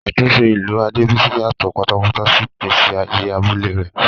Àtúnṣe ìlú Adebisi yàtọ̀ pátápátá sí ìgbésí ayé abúlé rẹ̀.